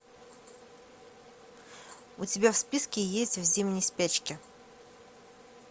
у тебя в списке есть в зимней спячке